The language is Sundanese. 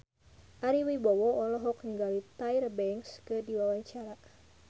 Ari Wibowo olohok ningali Tyra Banks keur diwawancara